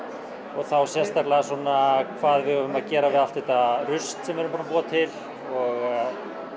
og þá sérstaklega svona hvað við eigum að gera við allt þetta rusl sem við erum búin að búa til og